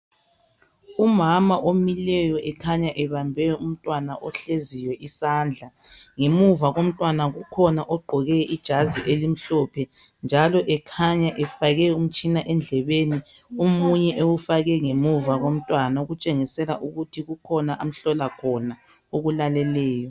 umama omileyo ekhanya ebambe umntwana ohleziyo izandla ngemuva komntwana ukhona ohleziyo egqoke ijazi elimhlophe njalo ekhanya ufake umtshina endlebeni omunye emfake ngemva komntwana ukutshengisela ukuthi kukhona akulaleleyo